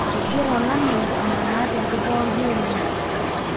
engira olameyu amaana tenkop pooki oleng.